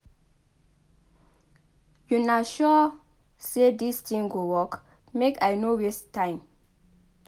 Una sure say dis thing go work? make I no waste time